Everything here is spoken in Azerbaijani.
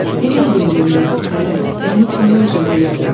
Bu nə yönəmdir fələk, məni kimə örcəh elədin?